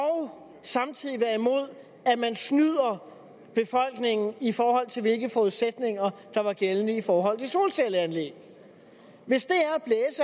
samtidig være imod at man snyder befolkningen i forhold til hvilke forudsætninger der var gældende i forhold til solcelleanlæg hvis det